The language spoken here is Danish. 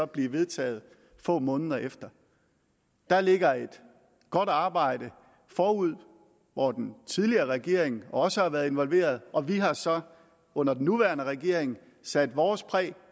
blive vedtaget få måneder efter der ligger et godt arbejde forude hvor den tidligere regering også har været involveret og vi har så under den nuværende regering sat vores præg